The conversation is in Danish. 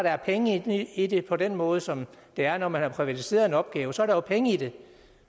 er penge i det på den måde som der er når man har privatiseret en opgave så der er jo penge i det